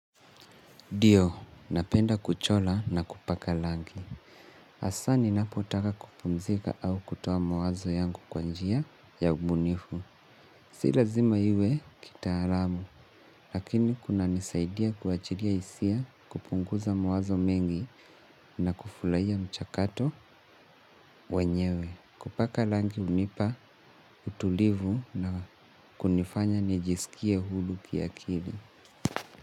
Dio, napenda kuchola na kupaka langi. Hasa ninapotaka kupumzika au kutoa mawazo yangu kwanjia ya ubunifu. Silazima hiwe kitaalamu, lakini kuna nisaidia kuachilia hisia kupunguza mawazo mengi na kufulahia mchakato wenyewe. Kupaka langi hunipa utulivu na kunifanya nijisikie hulu kia kili.